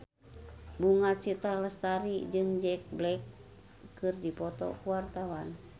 Bunga Citra Lestari jeung Jack Black keur dipoto ku wartawan